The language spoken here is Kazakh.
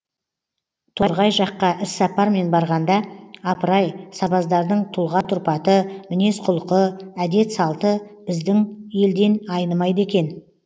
торғай жаққа іссапармен барғанда апырай сабаздардың тұлға тұрпаты мінез құлқы әдет салты біздің елден айнымайды екен